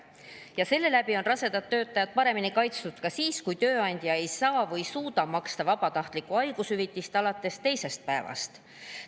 Tänu sellele on rasedad töötajad paremini kaitstud ka siis, kui tööandja ei saa või ei suuda maksta vabatahtlikku haigushüvitist alates teisest päevast.